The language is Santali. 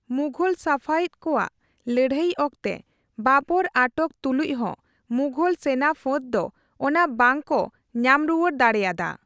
ᱢᱩᱜᱦᱚᱞᱼᱥᱟᱯᱷᱟᱣᱤᱫ ᱠᱩᱣᱟᱜ ᱞᱟᱹᱲᱦᱟᱹᱭ ᱚᱠᱛᱮ ᱵᱟᱨᱵᱟᱨ ᱟᱴᱚᱠ ᱛᱩᱞᱩᱪ ᱦᱚ ᱢᱩᱜᱦᱚᱞ ᱥᱮᱱᱟᱯᱷᱟᱹᱛ ᱫᱚ ᱚᱱᱟ ᱵᱟᱝ ᱠᱩ ᱧᱟᱢᱨᱩᱣᱟᱹᱲ ᱫᱟᱲᱮᱭᱟᱫᱟ ᱾